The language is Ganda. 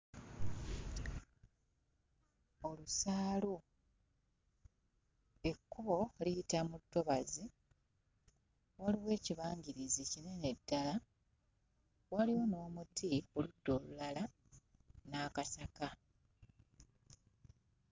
Olusaalu ekkubo liyita mu ttobazi waliwo ekibagirizi kinene ddala. Walimu n'omuti ku ludda olulala n'akasaka.